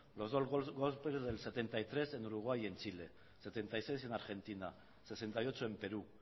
los dos golpes del setenta y tres en uruguay y en chile setenta y seis en argentina sesenta y ocho en perú